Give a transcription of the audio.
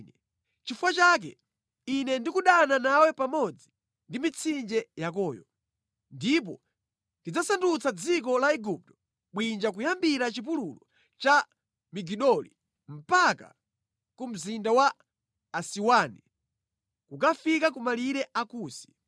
nʼchifukwa chake Ine ndikudana nawe pamodzi ndi mitsinje yakoyo, ndipo ndidzasandutsa dziko la Igupto bwinja kuyambira chipululu cha Migidoli mpaka ku mzinda wa Asiwani, kukafika ku malire a Kusi.